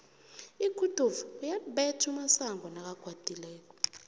iguduva uyalibetha umasango nakakwatileko